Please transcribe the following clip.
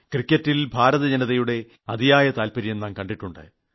ക്രിക്കറ്റിൽ ഭാരതജനതയുടെ അതിയായ താൽപര്യം നാം കണ്ടിട്ടുണ്ട്